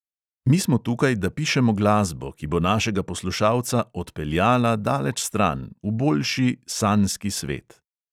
Mi smo tukaj, da pišemo glasbo, ki bo našega poslušalca "odpeljala" daleč stran, v boljši, sanjski svet.